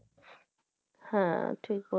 হ্যাঁ ঠিক ব